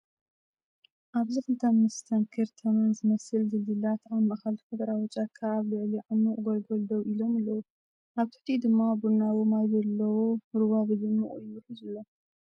ኣብዚ ክልተ መስተንክር ተመን ዝመስል ድልድላት ኣብ ማእከል ተፈጥሮኣዊ ጫካ ኣብ ልዕሊ ዓሚቝ ጐልጐል ደው ኢሎም ኣለዉ፣ ኣብ ትሕቲኡ ድማ ቡናዊ ማይ ዘለዎ ሩባ ብድሙቕ ይውሕዝ ኣሎ።